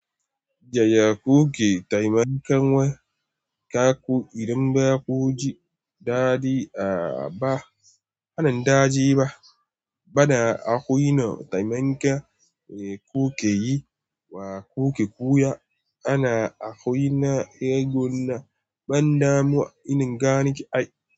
Jiya kuke taimakon wa kaku idan ba ku ji daɗi a ba, a nan daji ba, bana a kwino taimakon kuke yi wa kuke koya ana a kwai na egon na ban damuwa in gane ki ai.